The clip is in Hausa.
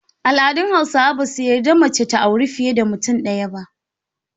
Al’adun Hausawa ba su yarda mace ta auri fiye da mutum ɗaya ba.